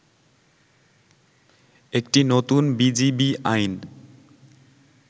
একটি নতুন বিজিবি আইন